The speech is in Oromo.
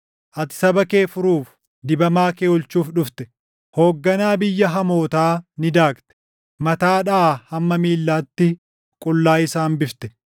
Ati saba kee furuuf, dibamaa kee oolchuuf dhufte. Hoogganaa biyya hamootaa ni daakte; mataadhaa hamma miillaatti qullaa isa hambifte.